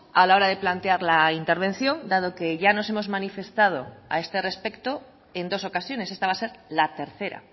a la hora de plantear la intervención dado que ya nos hemos manifestado a este respecto en dos ocasiones esta va a ser la tercera